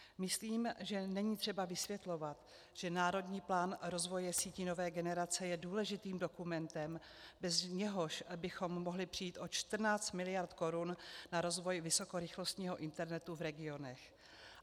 Myslím, že není třeba vysvětlovat, že Národní plán rozvoje sítí nové generace je důležitým dokumentem, bez něhož bychom mohli přijít o 14 miliard korun na rozvoj vysokorychlostního internetu v regionech.